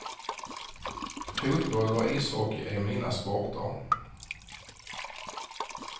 Fotboll och ishockey är mina sporter.